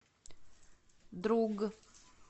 друг